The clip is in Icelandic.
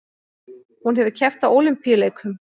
Hún hefur keppt á Ólympíuleikum